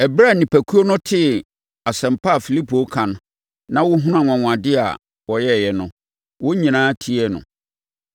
Ɛberɛ a nnipakuo no tee asɛm a Filipo reka na wɔhunuu anwanwadeɛ a ɔyɛeɛ no, wɔn nyinaa tiee no.